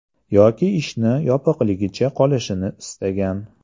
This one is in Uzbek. Yoki ishni yopig‘ligicha qolishini istagan.